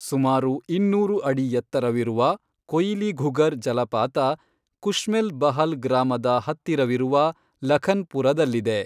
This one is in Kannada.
ಸುಮಾರು ಇನ್ನೂರು ಅಡಿ ಎತ್ತರವಿರುವ, ಕೊಯಿಲಿಘುಗರ್ ಜಲಪಾತ ಕುಶ್ಮೆಲ್ ಬಹಲ್ ಗ್ರಾಮದ ಹತ್ತಿರವಿರುವ ಲಖನ್ ಪುರದಲ್ಲಿದೆ.